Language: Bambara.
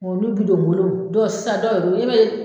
Bɔn n'u bi don bolo dɔw sisan dɔw wɛrɛ i m'a ye